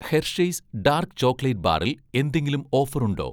Hershey's' dark chocolate ബാറിൽ എന്തെങ്കിലും offer ഉണ്ടോ?